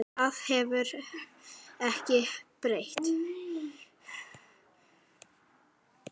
Það hefur ekkert breyst.